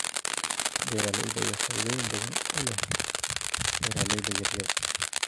Beeralayda ayaa faa'iidooyin badan u leh beeralayda yar yar.